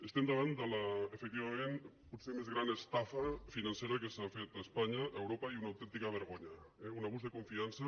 estem davant de l’efectivament potser més gran es·tafa financera que s’ha fet a espanya a europa i una autèntica vergonya eh un abús de confiança